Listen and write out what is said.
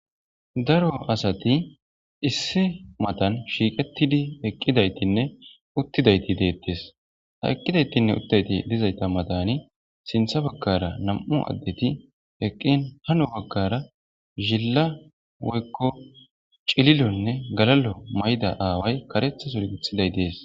Daro asati matan shiiqeti eqqidaytinne uttidayti deetes ha eqqidaytinne uttidayti dizayta matani sintha baggara nam'u addeti eqqin hanu baggara zhilla woykko cililonne galalo mayida aaway karethi sure gixxiday dees.